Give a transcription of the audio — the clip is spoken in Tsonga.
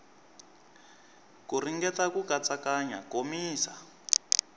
ku ringeta ku katsakanya komisa